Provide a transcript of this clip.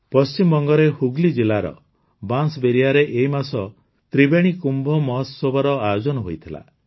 ପଶ୍ଚିମବଙ୍ଗରେ ହୁଗ୍ଲୀ ଜିଲ୍ଲାର ବାଁସ୍ବେରିଆରେ ଏଇ ମାସ ତ୍ରିବେଣୀ କୁମ୍ଭୋମହୋତ୍ସବର ଆୟୋଜନ ହୋଇଥିଲା